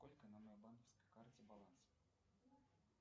сколько на моей банковской карте баланс